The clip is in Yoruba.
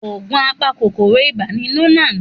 Òògùn apa kòkòrò ibà ni Lonart.